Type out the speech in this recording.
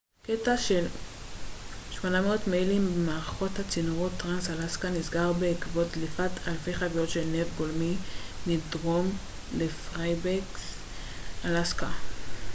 קטע של 800 מיילים ממערכת הצינורות טרנס-אלסקה נסגר בעקבות דליפת אלפי חביות של נפט גולמי מדרום לפיירבנקס אלסקה